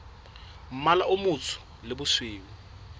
mmala o motsho le bosweu